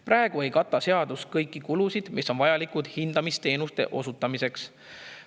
Praegu ei kata seadus kõiki kulusid, mis on vajalikud hindamisteenuste osutamiseks.